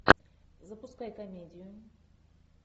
запускай комедию